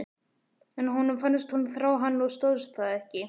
En honum fannst hún þrá hann og stóðst það ekki.